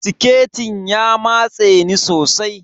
Siketin ya matse ni sosai.